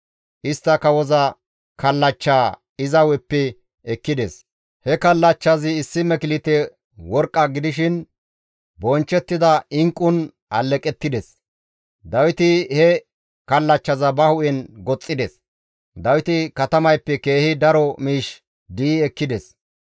Istta kawoza kallachchaa iza hu7eppe ekkides; he kallachchazi issi meklite worqqa gidishin bonchchettida inqqun aleqettides; Dawiti he kallachchaza ba hu7en goxxides; Dawiti katamayppe keehi daro miish di7i ekkides.